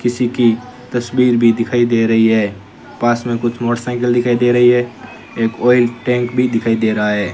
किसी की तस्वीर भी दिखाई दे रही है पास में कुछ मोटरसाइकिल दिखाई दे रही है एक ऑयल टैंक भी दिखाई दे रहा है।